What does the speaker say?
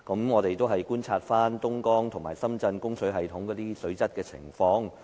我們觀察了東江和深圳供水系統的水質情況。